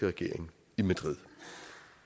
regeringen